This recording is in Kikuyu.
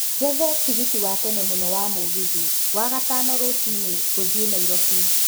njethe tigiti wa tene mũno wa mũgithi wa gatano rũcinĩ gũthiĩ nairobi